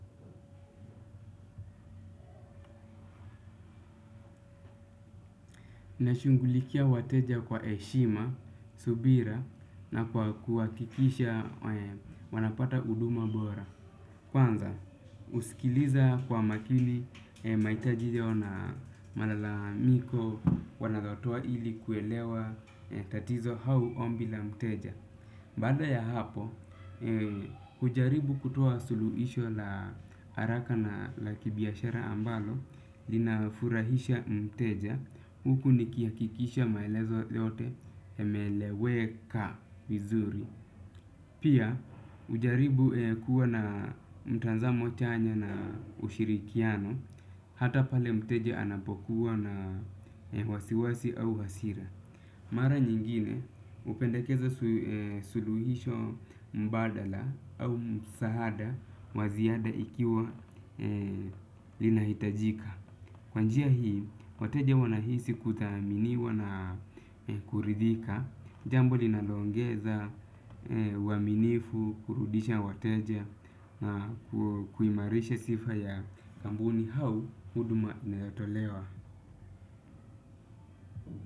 Nashughulikia wateja kwa heshima, subira na kwa kuhakikisha wanapata huduma bora. Kwanza, husikiliza kwa makini, mahitaji yao na malalamiko, wanayotoa ili kuelewa tatizo au ombi la mteja. Baada ya hapo, hujaribu kutoa suluhisho la haraka na la kibiashara ambalo, linafurahisha mteja, huku nikihakikisha maelezo yote yameeleweka vizuri. Pia, hujaribu kuwa na mtanzamo chanya na ushirikiano, hata pale mteja anapokuwa na wasiwasi au hasira. Mara nyingine hupendakeza suluhisho mbadala au msaada wa ziada ikiwa linahitajika. Kwa njia hii, wateja wanahisi kuthaminiwa na kuridhika. Jambo linalo ongeza uaminifu, kurudisha wateja na kuimarisha sifa ya kampuni au huduma inayotolewa.